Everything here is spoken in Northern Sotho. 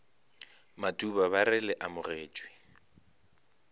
matuba ba re le amogetšwe